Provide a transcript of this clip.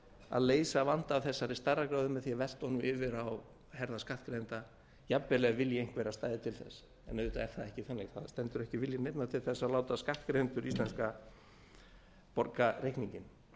að leysa vanda af þessari stærðargráðu með því að velta honum yfir á herðar skattgreiðenda jafnvel ef vilji einhverra stæði til þess en auðvitað er það ekki þannig það stendur ekki vilji neinna til að láta íslenska skattgreiðendur borga reikninginn